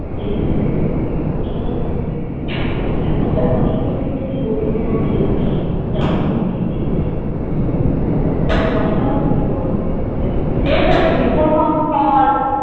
সেই পেঁপে গুলো কে তুলে নিয়ে চলে যেত মানে এত অস্ত হয়েছে বলবো তাকে যা আমি এখন কোনো পেপেই পেলাম না দেখো কষ্ট হয়না তুমি বোলো পেঁপে গুলো